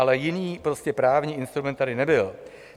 Ale jiný právní instrument tady nebyl.